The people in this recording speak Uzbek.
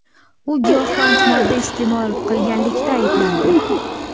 U giyohvand modda iste’mol qilganlikda ayblandi.